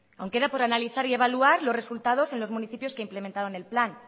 aun queda por analizar y evaluar los resultados en los municipios que implementaron el plan